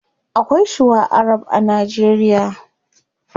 Akwai shuwa arab a nigeria